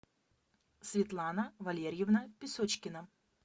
светлана валерьевна песочкина